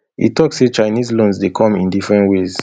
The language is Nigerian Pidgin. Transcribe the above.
e tok say chinese loans dey come in different ways